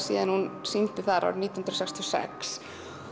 hún sýndi þar nítján hundruð sextíu og sex